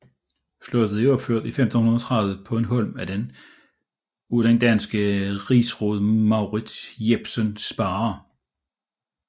Slottet er opført i 1530 på en holm af den danske rigsråd Mourids Jepsen Sparre